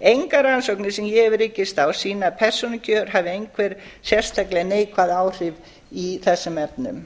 engar rannsóknir sem ég hef rekist á sýna að persónukjör hafi einhver sérstaklega neikvæð áhrif í þessum efnum